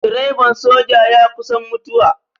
Direban soja ya kusan mutuwa.